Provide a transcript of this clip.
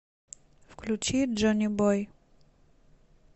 включи джонибой